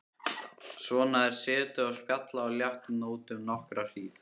Svona er setið og spjallað á léttum nótum nokkra hríð.